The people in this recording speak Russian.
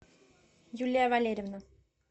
юлия валерьевна